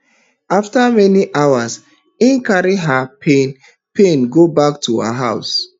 afta many hours im carry her pain pain go back to her house